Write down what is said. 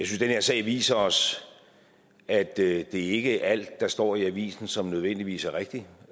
her sag viser os at det ikke er alt der står i avisen som nødvendigvis er rigtigt